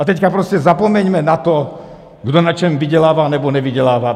A teď prostě zapomeňme na to, kdo na čem vydělává nebo nevydělává.